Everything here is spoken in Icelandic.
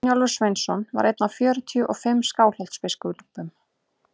brynjólfur sveinsson var einn af fjörutíu og fimm skálholtsbiskupum